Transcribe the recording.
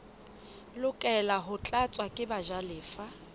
lokela ho tlatswa ke bajalefa